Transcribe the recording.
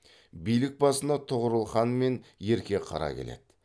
билік басына тұғырыл хан мен ерке қара келеді